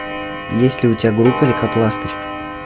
есть ли у тебя группа лейкопластырь